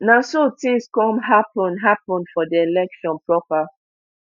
na so tins come happun happun for di election proper